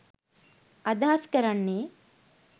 අදහස් කරන්නේ